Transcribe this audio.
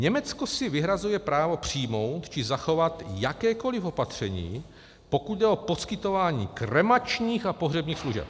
Německo si vyhrazuje právo přijmout či zachovat jakékoli opatření, pokud jde o poskytování kremačních a pohřebních služeb.